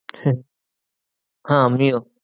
হ্যাঁ আমিও